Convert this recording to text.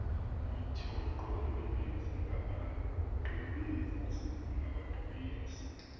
imithqtho emininzi engabaqbenzi